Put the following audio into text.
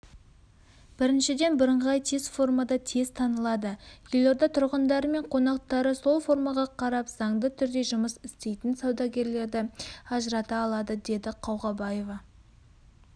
біріншіден бірыңғай форма тез танылады елорда тұрғындары мен қонақтары сол формаға қарап заңды түрде жұмыс істейтін саудагерлерді ажырата алады деді қауғабаева